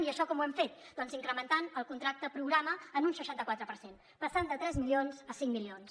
i això com ho hem fet doncs incrementant el contracte programa en un seixanta quatre per cent passant de tres milions a cinc milions